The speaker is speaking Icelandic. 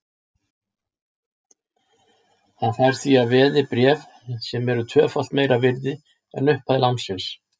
Hann fær því að veði bréf sem eru tvöfalt meira virði en upphæð lánsins.